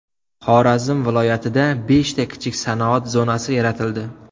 Xorazm viloyatida beshta kichik sanoat zonasi yaratildi.